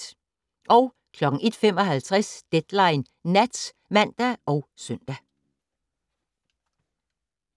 01:55: Deadline Nat (man og søn)